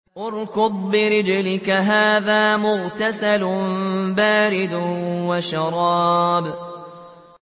ارْكُضْ بِرِجْلِكَ ۖ هَٰذَا مُغْتَسَلٌ بَارِدٌ وَشَرَابٌ